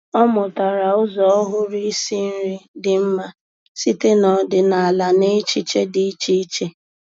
Ọ́ mụ́tàrà ụ́zọ́ ọ́hụ́rụ́ ísí nrí dị́ mma site n’ọ́dị́nála na echiche dị́ iche iche.